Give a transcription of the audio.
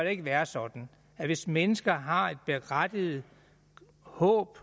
ikke være sådan at hvis mennesker har et berettiget håb